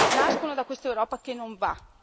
Nascono da quest'Europa che non va!